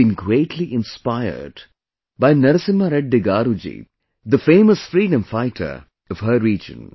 She has been greatly inspired by Narasimha Reddy Garu ji, the famous freedom fighter of her region